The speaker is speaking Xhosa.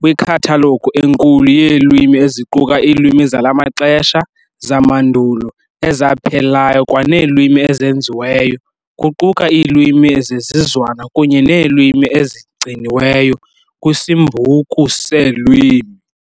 kwikhathalogu enkulu yeelwimi eziquka iilwimi zala maxesha, zamandulo, ezaphelayo kwaneelwimi ezenziweyo, kuquka iilwimi zezizwana kunye neelwimi ezigciniweyo, kwisimbuku seelwimi.